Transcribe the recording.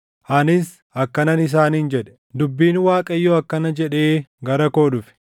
Anis akkanan isaaniin jedhe; “Dubbiin Waaqayyoo akkana jedhee gara koo dhufe: